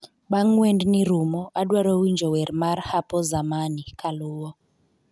Bang' wendni rumo adwaro winjo wer mar hapo zamani kaluwo